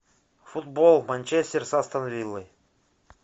футбол манчестер с астон виллой